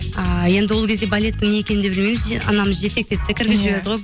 ы енді ол кезде балеттің не екенін де білмейміз анамыз жетектеді де кіргізіп жіберді ғой